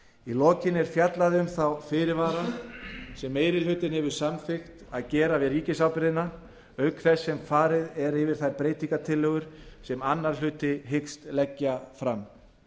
í lokin er fjallað um þá fyrirvara sem meiri hlutinn hefur samþykkt að gera við ríkisábyrgðina auk þess sem farið er yfir þær breytingartillögur sem annar minni hluti hyggst leggja fram